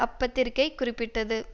அப்பத்திரிக்கை குறிப்பிட்டது